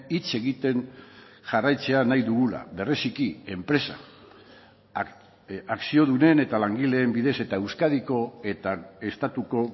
hitz egiten jarraitzea nahi dugula bereziki enpresa akziodunen eta langileen bidez eta euskadiko eta estatuko